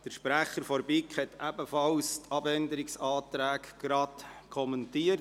Der Sprecher hat ebenfalls die Abänderungsanträge kommentiert.